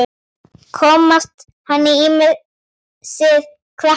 Komast hann ýmsir krappan í.